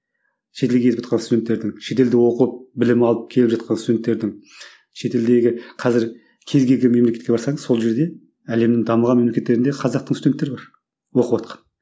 шетелге кетіватқан студенттердің шетелде оқып білім алып келіп жатқан студенттердің шетелдегі қазір кез келген мемлекетке барсаңыз сол жерде әлемнің дамыған мемлекеттерінде қазақтың студенттері бар оқыватқан